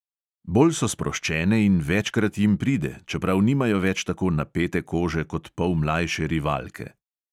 Bolj so sproščene in večkrat jim pride, čeprav nimajo več tako napete kože kot pol mlajše rivalke.